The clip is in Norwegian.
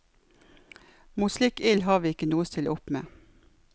Mot slik ild har vi ikke noe å stille opp med.